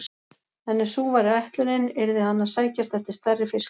En ef sú væri ætlunin, yrði hann að sækjast eftir stærri fiskum.